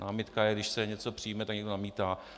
Námitka je, když se něco přijme a někdo namítá.